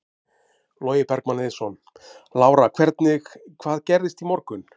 Logi Bergmann Eiðsson: Lára hvernig, hvað gerðist í morgun?